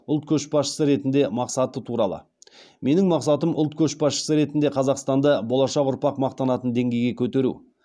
ұлт көшбасшысы ретінде мақсаты туралы менің мақсатым ұлт көшбасшысы ретінде қазақстанды болашақ ұрпақ мақтанатын деңгейге көтеру